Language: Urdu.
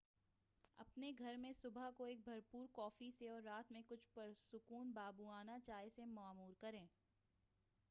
اپنے گھرمیں صبح کو ایک بھرپور کافی سے اور رات میں کُچھ پُرسکون بابونہ چائے سے معمور کریں